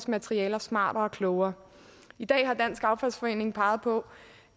materialer smartere og klogere i dag har dansk affaldsforening peget på